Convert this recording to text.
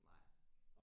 Nej